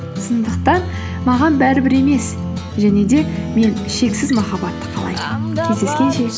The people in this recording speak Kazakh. сондықтан маған бәрібір емес және де мен шексіз махаббатты қалаймын кездескенше